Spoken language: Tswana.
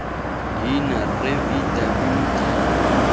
leina rre v w d